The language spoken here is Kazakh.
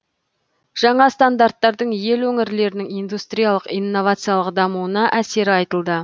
жаңа стандарттардың ел өңірлерінің индустриялық инновациялық дамуына әсері айтылды